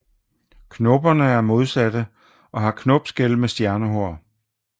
Knopperne er modsatte og har knopskæl med stjernehår